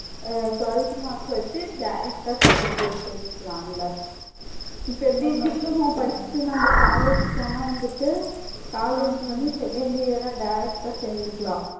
அஹ் twelfth mark வச்சு direct ஆ second year சேர்ந்துக்கலாம் அந்த இப்ப எப்படி diploma படிச்சுட்டு நம்ப college போனா வந்துட்டு college வந்து second year ஆ direct ஆ சேர்ந்துக்கலாம்.